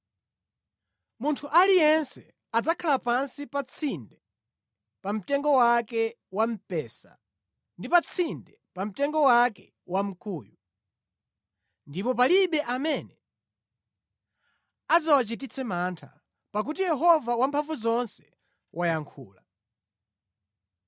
Munthu aliyense adzakhala pansi pa tsinde pa mtengo wake wa mpesa ndi pa tsinde pa mtengo wake wamkuyu, ndipo palibe amene adzawachititse mantha, pakuti Yehova Wamphamvuzonse wayankhula.